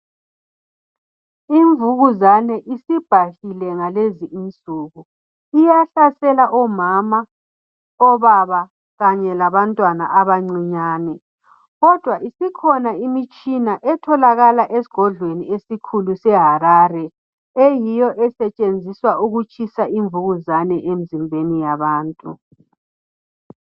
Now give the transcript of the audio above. Imvukuzane isibhahlile ngalezi insuku. Iyahlasela omama, obaba kanye labantwana abancinyane. Kodwa isikhona imitshina etholakala esgodlweni esikhulu seHarare eyiyo esetshenziswa ukutshisa imvukuzane emzimbeni yabantu.